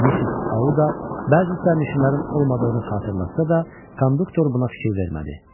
Missis Auda bəzi sərnişinlərin olmadığını xatırlatsa da, konduktor buna fikir vermədi.